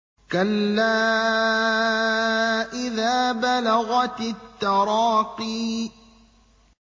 كَلَّا إِذَا بَلَغَتِ التَّرَاقِيَ